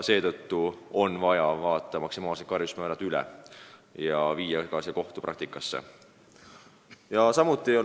Seetõttu on vaja maksimaalsed karistusmäärad üle vaadata ja muuta ka kohtupraktikat.